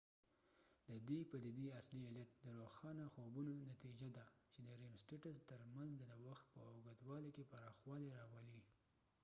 ددې پديدي اصلی علت د روښانه خوبونو نتیجه ده چې د ریم سټیټس تر منځ د وخت په اوږدوالی کې پراخوالی راولی